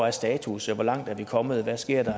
er status hvor langt er vi kommet og hvad sker der